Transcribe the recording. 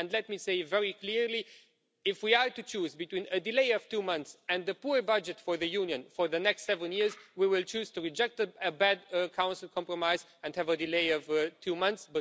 And let me say very clearly, if we are to choose between a delay of two months and a poor budget for the Union for the next seven years, we will choose to reject a bad Council compromise and have a delay of two months.